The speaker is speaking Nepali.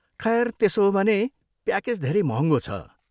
खैर, त्यसो हो भने, प्याकेज धेरै महँगो छ।